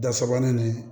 Da sabanan nin